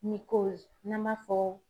n'an b'a fɔ